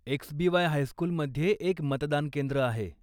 एक्सबीवाय हायस्कूलमध्ये एक मतदानकेंद्र आहे.